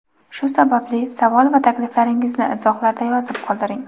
shu sababli savol va takliflaringizni izohlarda yozib qoldiring.